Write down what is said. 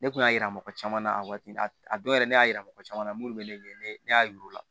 Ne kun y'a yira mɔgɔ caman na a waati a dɔw yɛrɛ ne y'a yira mɔgɔ caman na munnu bɛ ne ye ne y'a yir'u la